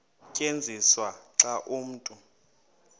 tyenziswa xa umntu